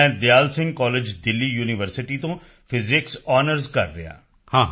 ਮੈਂ Dayal Singh college Delhi university ਤੋਂ physics honours ਕਰ ਰਿਹਾ ਹਾਂ